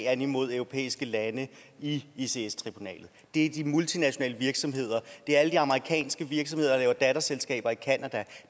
an imod europæiske lande i ics ics tribunalet det er de multinationale virksomheder det er alle de amerikanske virksomheder der laver datterselskaber i canada